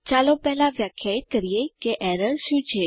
ચાલો પહેલા વ્યાખ્યાયિત કરીએ કે એરર શું છે